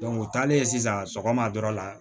u taalen sisan sɔgɔma dɔrɔn la